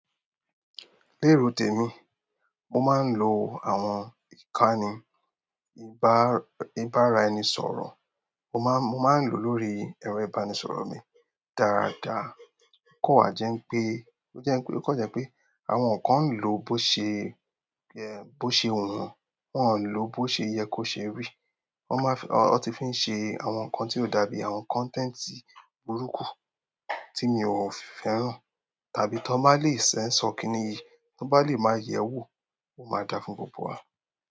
Lérò tèmi, mo máa ń lo àwọn ìkànnì ibàraẹnisọ̀rọ̀, mo máa ń lò lórí ẹ̀rọ ìbánisọ̀rọ̀ mi dáadáa. O kan wa jẹ pé, ó jẹ́ pé, ó kan jẹ́ pé àwọn kan ń lò ó bó ṣe, bó ṣe wu won, wọ́n ń lò ó bó ṣe yẹ kó ṣe rí. Wọ́n máa fi, wọ́n ti fi ń ṣe àwọn nǹkan tí ó dàbí àwọn content burúkú tí mi ò fẹ́ràn, tàbí tí wọ́n máa le censor kini yìí, tí wọ́n bá lè máa yẹ̀ ẹ́ wò, ó máa dà fún gbogbo wa.